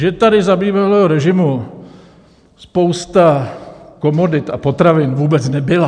Že tady za bývalého režimu spousta komodit a potravin vůbec nebyla...